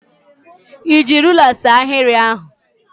Ị ji ruler see ahịrị ahụ?